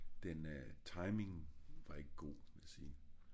den øh timing var ik go vil jeg sige